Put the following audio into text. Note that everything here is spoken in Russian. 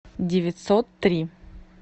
девятьсот три